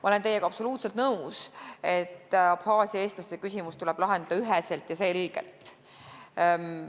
Ma olen teiega absoluutselt nõus, et Abhaasia eestlaste küsimus tuleb lahendada üheselt ja selgelt.